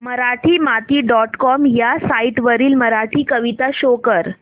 Marathimati dot com ह्या site वरील मराठी कविता शो कर